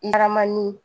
Laman ni